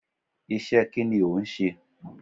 Isẹ́ kí ni ò ń ṣe?